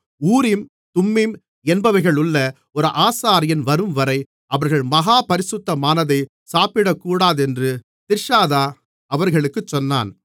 ஊரீம் Thummim என்பவைகளுள்ள ஒரு ஆசாரியன் வரும்வரை அவர்கள் மகா பரிசுத்தமானதை சாப்பிடக்கூடாதென்று திர்ஷாதா அவர்களுக்குச் சொன்னான்